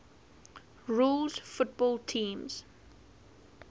rules football teams